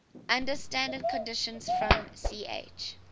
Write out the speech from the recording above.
under standard conditions from ch